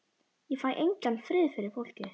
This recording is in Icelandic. Ég fæ engan frið fyrir fólki.